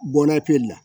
Bɔnna pere la